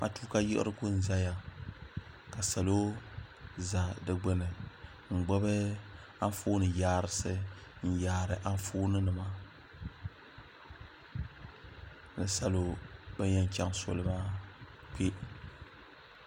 matuuka yiɣirigu n ʒɛya ka salo ʒɛ di gbuni n gbubi Anfooni yaarisi n yaari Anfooni nima ka salo ban yɛn chɛŋ soli maa kpɛ